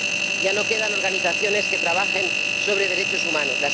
Ya no quedan organizaciones que trabajen sobre derechos humanos